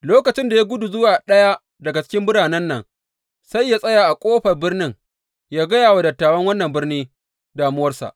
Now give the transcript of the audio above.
Lokacin da ya gudu zuwa ɗaya daga cikin biranen nan, sai yă tsaya a ƙofar birnin yă gaya wa dattawan wannan birni damuwarsa.